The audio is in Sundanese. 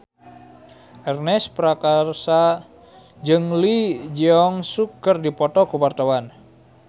Ernest Prakasa jeung Lee Jeong Suk keur dipoto ku wartawan